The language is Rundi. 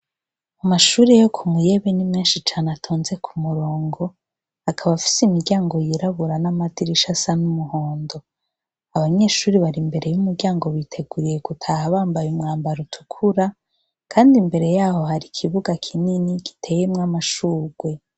Mu mashuri yo ku muyebe n'imwenshi cane atonze ku murongo akaba afise imiryango yirabura n'amadirisha asa n'umuhondo abanyeshuri bari imbere y'umuryango biteguriye gutaha bambaye umwambaro utukura, kandi imbere yaho hari ikibuga kinini giteyemwo amashurwe.